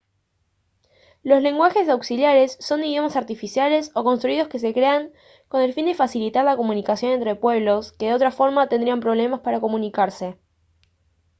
los lenguajes auxiliares son idiomas artificiales o construidos que se crean con el fin de facilitar la comunicación entre pueblos que de otra forma tendrían problemas para comunicarse